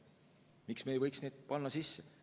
Miks me ei võiks neid sisse panna?